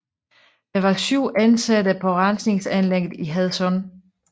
Der var 7 ansatte på rensningsanlægget i Hadsund